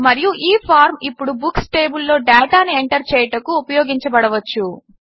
మరియు ఈ ఫార్మ్ ఇప్పుడు బుక్స్ టేబుల్ లో డేటాను ఎంటర్ చేయుటకు ఉపయోగించబడవచ్చు